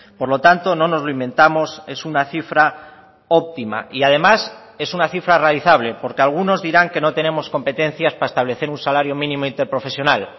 por lo tanto no nos lo inventamos es una cifra óptima y además es una cifra realizable porque algunos dirán que no tenemos competencias para establecer un salario mínimo interprofesional